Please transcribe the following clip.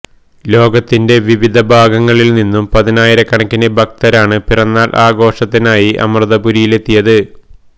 ലോകത്തിന്റ വിവിധ ഭാഗങ്ങളില് നിന്നും പതിനായിരകണക്കിന് ഭക്തരാണ് പിറന്നാള് ആഘോഷത്തിനായി അമൃതപുരിയിലെത്തിയത്